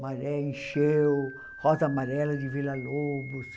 Maré Encheu, Rosa Amarela de Villa-Lobos.